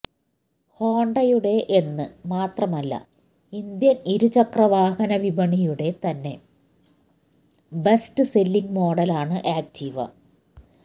ഹോണ്ടയുടെ എന്ന് മാത്രമല്ല ഇന്ത്യൻ ഇരുചക്ര വാഹന വിപണിയുടെ തന്നെ ബെസ്റ്റ് സെല്ലിങ് മോഡൽ ആണ് ആക്ടിവ